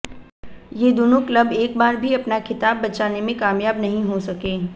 ये दोनों क्लब एक बार भी अपना खिताब बचाने में कामयाब नहीं हो सके